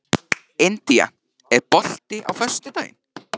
India, er bolti á föstudaginn?